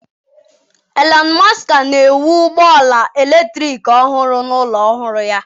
Elon Musk na-ewu ụgbọ ala eletrik ọhụrụ na ụlọ ọrụ ya.